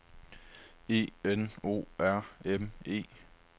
E N O R M E